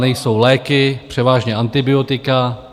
Nejsou léky, převážně antibiotika.